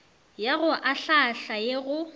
ya go ahlaahla ye go